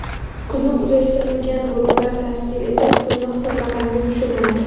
Kuni uzaytirilgan guruhlar tashkil etib, pulini hisob raqamga tushirmaydi.